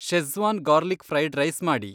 Schezwan garlic fried rice ಮಾಡಿ.